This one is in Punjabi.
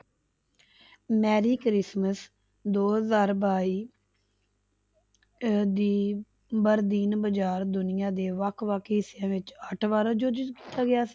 ਮੈਰੀ ਕ੍ਰਿਸਮਸ ਦੋ ਹਜ਼ਾਰ ਬਾਈ ਅਹ ਦੀ ਵਰਦੀਨ ਬਾਜ਼ਾਰ ਦੁਨੀਆਂ ਦੇ ਵੱਖ ਵੱਖ ਹਿੱਸਿਆਂ ਵਿੱਚ